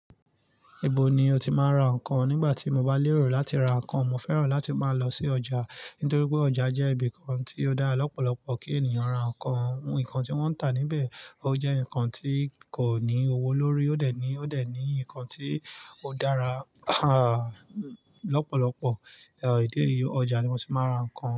Ibo ni o ti máa ń ra nǹkan? Nígbà tí mo bá lérò láti ra nǹkan, mo fẹ́ràn láti máa lọ sí ọjà nítorí pé ọjà jẹ́ ibi kan tí ó dára lọ́pọ̀lọpọ̀ kí ènìyàn ra nǹkan. Nǹkan tí wọ́n ń tà níbẹ̀, ó jẹ́ nǹkan tí kò ní owó lórí, ó dẹ̀ ní, ó dẹ̀ ní nǹkan tí ó dára lọ́pọ̀lọpọ̀, ọ, ìdí eyí, ọjà ni mo ti máa ń ra nǹkan.